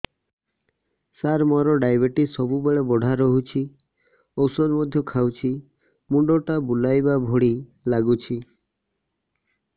ସାର ମୋର ଡାଏବେଟିସ ସବୁବେଳ ବଢ଼ା ରହୁଛି ଔଷଧ ମଧ୍ୟ ଖାଉଛି ମୁଣ୍ଡ ଟା ବୁଲାଇବା ଭଳି ଲାଗୁଛି